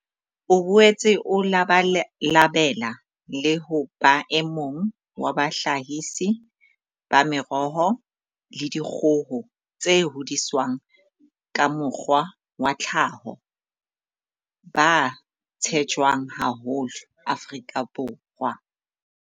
O boetse o labalabela le ho ba emong wa bahlahisi ba meroho le dikgoho tse hodiswang ka mokgwa wa tlhaho ba tshetjwang haholo Afrika Borwa.